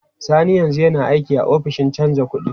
Sani yanzu yana aiki a ofishin canja kuɗi.